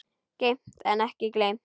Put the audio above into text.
Geymt en ekki gleymt